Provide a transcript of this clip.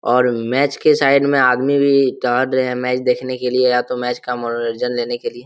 और मैच के साइड में आदमी भी दाड़ रहे है मैच देखने के लिए या तो मैच का मनोरंजन लेने के लिए।